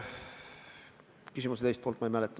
Küsimuse teist poolt ma ei mäleta.